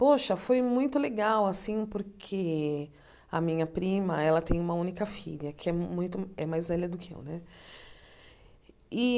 Poxa, foi muito legal assim, porque a minha prima tem uma única filha, que é muito é mais velha do que eu né. E